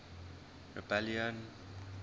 rebellion